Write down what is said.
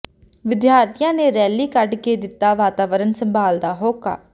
ਵਿਦਿਆਰਥੀਆਂ ਨੇ ਰੈਲੀ ਕੱਢ ਕੇ ਦਿੱਤਾ ਵਾਤਾਵਰਨ ਸੰਭਾਲ ਦਾ ਹੋਕਾ